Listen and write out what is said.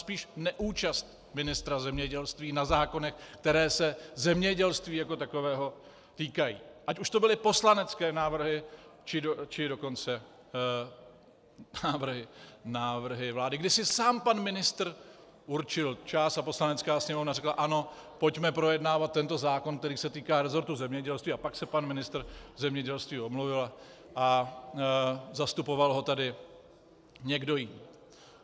Spíš neúčast ministra zemědělství na zákonech, které se zemědělství jako takového týkají, ať už to byly poslanecké návrhy, či dokonce návrhy vlády, kdy si sám pan ministr určil čas a Poslanecká sněmovna řekla ano, pojďme projednávat tento zákon, který se týká resortu zemědělství, a pak se pan ministr zemědělství omluvil a zastupoval ho tady někdo jiný.